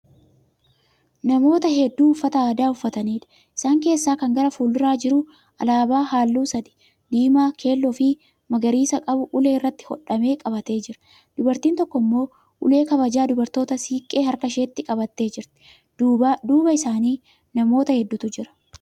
Namoota hedduu uffata aadaa uufataniidha. Isaan keessaa Kan gara fuulduraa jiru Alaabaa halluu sadi(diimaa, keelloofi magariisa) qabu ulee irratti hodhame qabatee jira. Dubartiin tokko immoo ulee kabajaa dubartootaa siiqqee harka isheetti qabattee jirti. Duuba isaanii namoota hedduutu jira